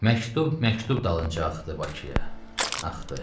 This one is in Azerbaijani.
Məktub məktub dalınca axdı Bakıya, axdı.